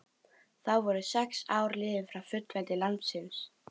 Þá voru sex ár liðin frá fullveldi landsins.